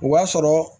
O b'a sɔrɔ